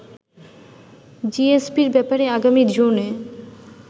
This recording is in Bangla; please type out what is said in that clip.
জিএসপির ব্যাপারে আগামী জুনে